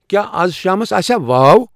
کیٛاہ آز شامَس آسیا واو